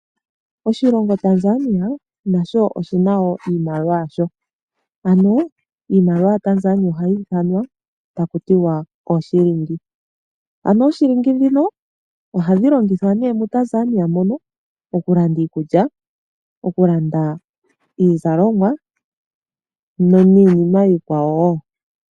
Oshilongo Tanzania nasho oshi na wo iimaliwa yasho. Ano, iimaliwa yaTanzania ohayi ithanwa taku tiwa oyo ooshilingi. Ooshilingi ndhino ohadhi longithwa nduno moTanzania mono okulanda iikulya, iizalomwa niinima wo iikwawo.